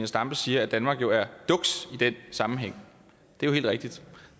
stampe siger at danmark jo er duks i den sammenhæng det er helt rigtigt